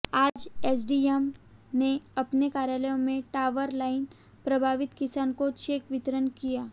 आज एसडीएम ने अपने कार्यालय में टॉवर लाइन प्रभावित किसान को चेक वितरण किया